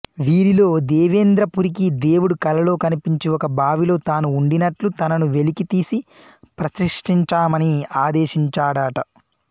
వీరిలో దేవేంద్రపురికి దేవుడు కలలో కనిపించి ఒక బావిలో తాను ఉండినట్లు తనను వెలికి తీసి ప్రతిష్ఠించమని ఆదేశించాడట